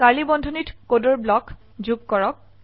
curly বন্ধনীত কোডৰ block যোগ কৰক